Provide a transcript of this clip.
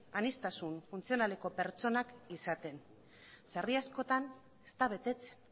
aniztasun funtzionaleko pertsonak izaten sarri askotan ez da betetzen